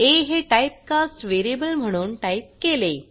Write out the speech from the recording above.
आ हे type cast variable म्हणून type केले